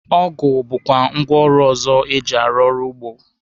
Ọgụ bụkwa ngwaọrụ ọzọ eji arụ ọrụ ugbo.